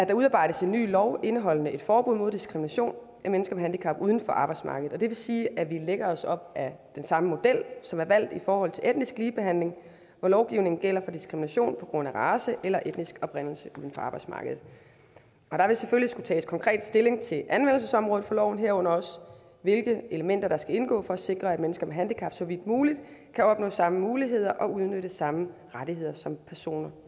der udarbejdes en ny lov indeholdende et forbud mod diskrimination af mennesker med handicap uden for arbejdsmarkedet det vil sige at vi lægger os op ad den samme model som er valgt i forhold til etnisk ligebehandling hvor lovgivningen gælder for diskrimination på grund af race eller etnisk oprindelse uden for arbejdsmarkedet og der vil selvfølgelig skulle tages konkret stilling til anvendelsesområdet for loven herunder også hvilke elementer der skal indgå for at sikre at mennesker med handicap så vidt muligt kan opnå samme muligheder og udnytte samme rettigheder som personer